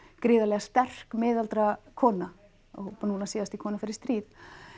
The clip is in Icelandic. gríðarlega sterk miðaldra kona og nú síðast bara í kona fer í stríð